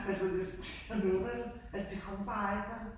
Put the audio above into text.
Altså det sådan der måber jeg. Altså det kunne man bare ikke vel